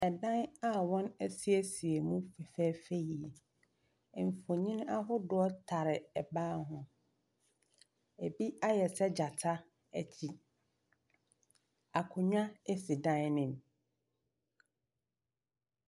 Dan a wɔasiesie mu fɛfɛɛfɛ yie, mfonini ahodoɔ tare ban ho, bi ayɛ sɛ gyata akyi. Akonnwa si dan ne mu.